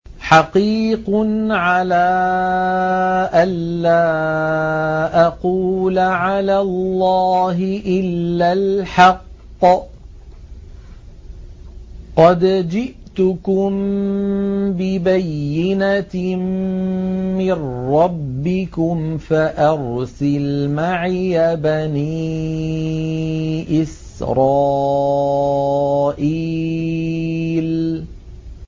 حَقِيقٌ عَلَىٰ أَن لَّا أَقُولَ عَلَى اللَّهِ إِلَّا الْحَقَّ ۚ قَدْ جِئْتُكُم بِبَيِّنَةٍ مِّن رَّبِّكُمْ فَأَرْسِلْ مَعِيَ بَنِي إِسْرَائِيلَ